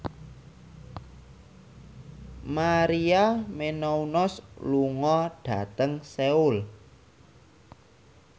Maria Menounos lunga dhateng Seoul